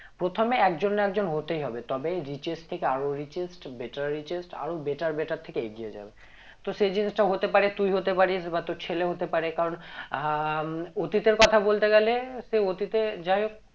প্রথমে একজন না একজন হতেই হবে তবে richest থেকে আরো richest better richest আরো better better থেকে এগিয়ে যাবে তো সেই জিনিষটা হতে পারে তুই হতে পারিস বা তোর ছেলে হতে পারে কারণ আহ অতীতের কথা বলতে গেলে সে অতীতে যাই হোক